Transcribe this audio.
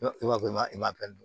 I b'a fɔ i ma i m'a dɔn